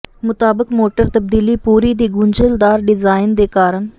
ਮੁਤਾਬਕ ਮੋਟਰ ਤਬਦੀਲੀ ਪੂਰੀ ਦੀ ਗੁੰਝਲਦਾਰ ਡਿਜ਼ਾਇਨ ਦੇ ਕਾਰਨ